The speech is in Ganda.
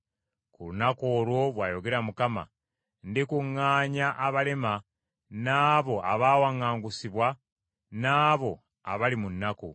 “Ku lunaku olwo,” bw’ayogera Mukama , “Ndikuŋŋaanya abalema, n’abo abaawaŋŋangusibwa n’abo abali mu nnaku.